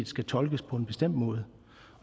skal tolkes på en bestemt måde